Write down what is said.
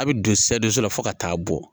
A bɛ don la fo ka taa bɔ